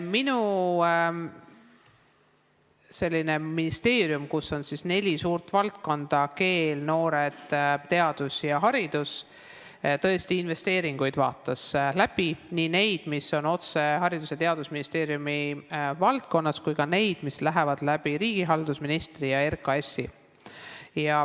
Minu ministeerium, kus on neli suurt valdkonda – keel, noored, teadus ja haridus –, vaatas tõesti investeeringud üle, nii need, mis on otse Haridus- ja Teadusministeeriumi valdkonnas, kui ka need, mis tehakse riigihalduse ministri ja RKAS-i kaudu.